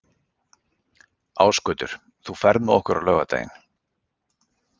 Ásgautur, ferð þú með okkur á laugardaginn?